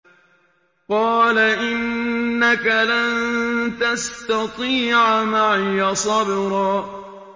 قَالَ إِنَّكَ لَن تَسْتَطِيعَ مَعِيَ صَبْرًا